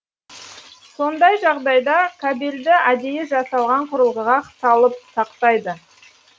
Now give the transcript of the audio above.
сондай жағдайда кабельді әдейі жасалған құрылғыға салып сақтайды